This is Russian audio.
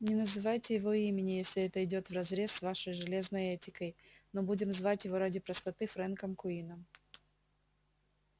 не называйте его имени если это идёт вразрез с вашей железной этикой но будем звать его ради простоты фрэнком куинном